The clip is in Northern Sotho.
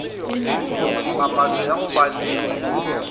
papatšo ya go ba le